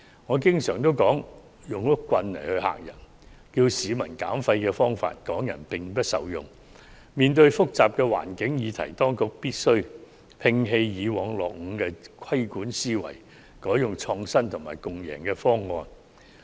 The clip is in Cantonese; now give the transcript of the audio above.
我始終認為採取嚇唬的方式要求市民減廢，港人並不受用，面對複雜的環境議題，當局必須摒棄過往的落伍規管思維，改為採用創新和共贏的方案。